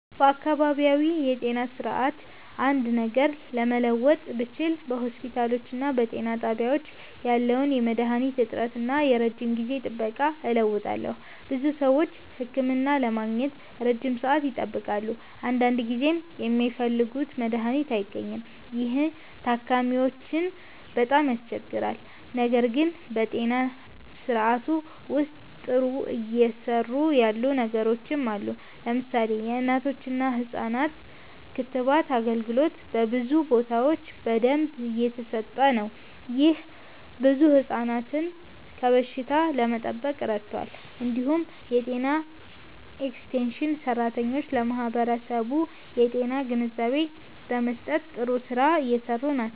በአካባቢያዊ የጤና ስርዓት አንድ ነገር መለወጥ ብችል በሆስፒታሎችና በጤና ጣቢያዎች ያለውን የመድሃኒት እጥረት እና የረጅም ጊዜ ጥበቃ እለውጣለሁ። ብዙ ሰዎች ህክምና ለማግኘት ረጅም ሰዓት ይጠብቃሉ፣ አንዳንድ ጊዜም የሚፈልጉት መድሃኒት አይገኝም። ይህ ታካሚዎችን በጣም ያስቸግራል። ነገር ግን በጤና ስርዓቱ ውስጥ ጥሩ እየሰሩ ያሉ ነገሮችም አሉ። ለምሳሌ የእናቶችና ህፃናት ክትባት አገልግሎት በብዙ ቦታዎች በደንብ እየተሰጠ ነው። ይህ ብዙ ህፃናትን ከበሽታ ለመጠበቅ ረድቷል። እንዲሁም የጤና ኤክስቴንሽን ሰራተኞች ለማህበረሰቡ የጤና ግንዛቤ በመስጠት ጥሩ ስራ እየሰሩ ናቸው።